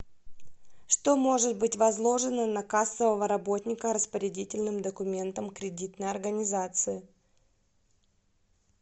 что может быть возложено на кассового работника распорядительным документом кредитной организации